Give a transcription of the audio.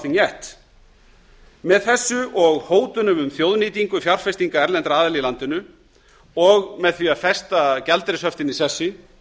nothing yet með þessu og hótunum um þjóðnýtingu fjárfestinga erlendra aðila í landinu og með því að festa gjaldeyrishöftin í sessi